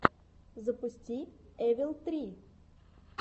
запусти эвил три